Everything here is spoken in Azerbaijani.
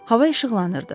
Hava işıqlanırdı.